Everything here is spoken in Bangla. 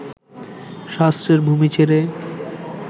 শাস্ত্রের ভূমি ছেড়ে